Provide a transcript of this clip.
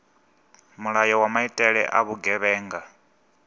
mulayo wa maitele a vhugevhenga